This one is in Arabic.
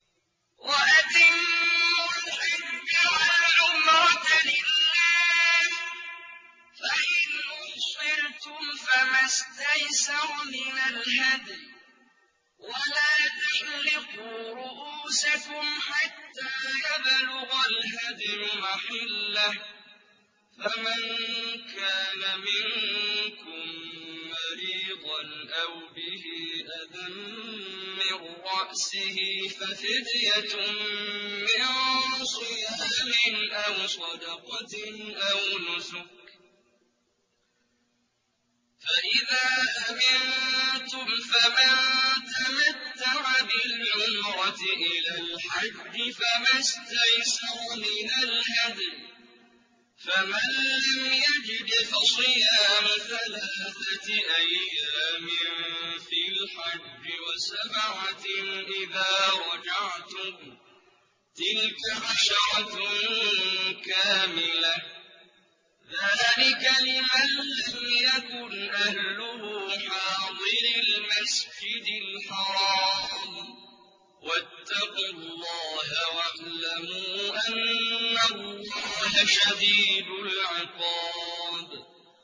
وَأَتِمُّوا الْحَجَّ وَالْعُمْرَةَ لِلَّهِ ۚ فَإِنْ أُحْصِرْتُمْ فَمَا اسْتَيْسَرَ مِنَ الْهَدْيِ ۖ وَلَا تَحْلِقُوا رُءُوسَكُمْ حَتَّىٰ يَبْلُغَ الْهَدْيُ مَحِلَّهُ ۚ فَمَن كَانَ مِنكُم مَّرِيضًا أَوْ بِهِ أَذًى مِّن رَّأْسِهِ فَفِدْيَةٌ مِّن صِيَامٍ أَوْ صَدَقَةٍ أَوْ نُسُكٍ ۚ فَإِذَا أَمِنتُمْ فَمَن تَمَتَّعَ بِالْعُمْرَةِ إِلَى الْحَجِّ فَمَا اسْتَيْسَرَ مِنَ الْهَدْيِ ۚ فَمَن لَّمْ يَجِدْ فَصِيَامُ ثَلَاثَةِ أَيَّامٍ فِي الْحَجِّ وَسَبْعَةٍ إِذَا رَجَعْتُمْ ۗ تِلْكَ عَشَرَةٌ كَامِلَةٌ ۗ ذَٰلِكَ لِمَن لَّمْ يَكُنْ أَهْلُهُ حَاضِرِي الْمَسْجِدِ الْحَرَامِ ۚ وَاتَّقُوا اللَّهَ وَاعْلَمُوا أَنَّ اللَّهَ شَدِيدُ الْعِقَابِ